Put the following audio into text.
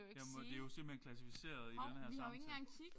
Jeg må det jo simpelthen klassificeret i den her samtale